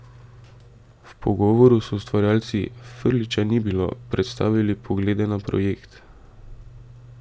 V pogovoru so ustvarjalci, Frljića ni bilo, predstavili poglede na projekt.